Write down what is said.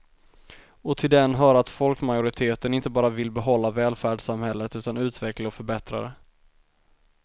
Och till den hör att folkmajoriteten inte bara vill behålla välfärdssamhället utan utveckla och förbättra det.